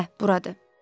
Hə, buradır.